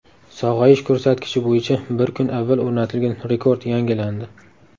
Sog‘ayish ko‘rsatkichi bo‘yicha bir kun avval o‘rnatilgan rekord yangilandi.